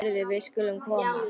Heyrðu, við skulum koma.